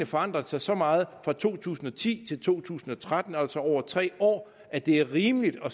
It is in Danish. forandret sig så meget fra to tusind og ti til to tusind og tretten altså over tre år at det er rimeligt at